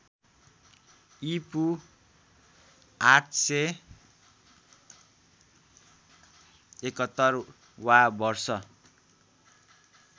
ईपू ८७१ वा वर्ष